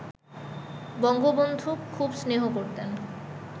বঙ্গবন্ধু খুব স্নেহ করতেন